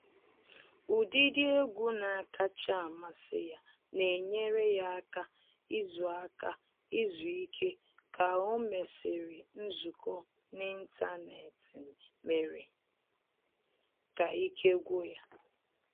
Ụdịdị egwu na-akacha amasị ya na enyere ya aka izu aka izu ike ka o mesịrị nzukọ n’ịntanetị mere ka ike gwụ ya